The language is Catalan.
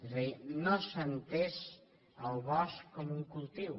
és a dir no s’ha entès el bosc com un cultiu